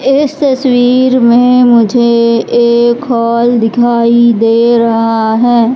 इस तस्वीर में मुझे एक हॉल दिखाई दे रहा है।